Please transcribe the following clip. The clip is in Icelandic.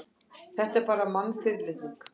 Þetta var bara mannfyrirlitning.